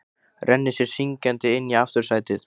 Rennir sér syngjandi inn í aftursætið.